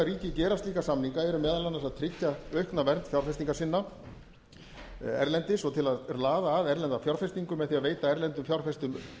ríki gera slíka samninga eru meðal annars að tryggja aukna vernd fjárfestinga sinna erlendis og til að laða að erlenda fjárfestingu með því að veita erlendum fjárfestum